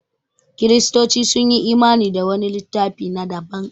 Kiristoci sun yi imani da wani littafi na daban